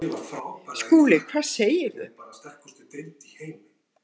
SKÚLI: Hvað segirðu?